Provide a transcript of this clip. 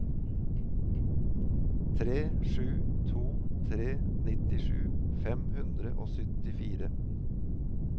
tre sju to tre nittisju fem hundre og syttifire